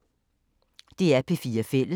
DR P4 Fælles